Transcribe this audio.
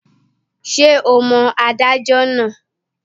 Ṣé o mọ adájọ́ náà?